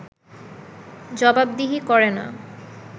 জবাবদিহি করে না